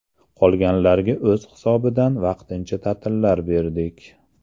Qolganlarga o‘z hisobidan vaqtincha ta’tillar berdik.